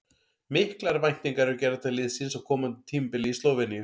Miklar væntingar eru gerðar til liðsins á komandi tímabili í Slóveníu.